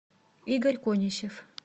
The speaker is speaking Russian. игорь конищев